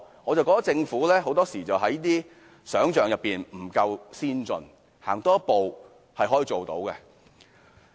我覺得政府很多時候是缺乏想象力，多走一步是可以做到的。